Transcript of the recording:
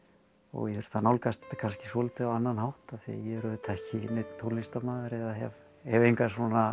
ég þurfti að nálgast þetta kannski svolítið á annan hátt af því er auðvitað ekki neinn tónlistarmaður eða hef hef enga